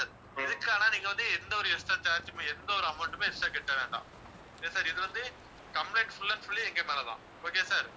இதுக்கு ஆனா நீங்க வந்து, எந்த ஒரு extra charge மே எந்த ஒரு amount மே extra கட்ட வேண்டாம். ஏன் sir இது வந்து complaint full and full எங்க மேலதான் okay யா sir